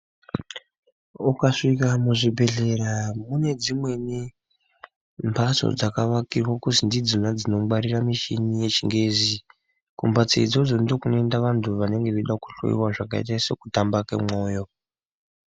Ukasvika muzvibhedhleya mune dzimweni mphatso dzakavakirwa kuti ndidzona dzinongwarirwa michini yechingezi, kumphatso idzodzo ndokunoenda vantu vanenge veida kuhloyiwa zvakaita sekutamba kemwoyo.